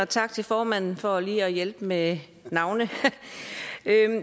tak til formanden for lige at hjælpe med navnet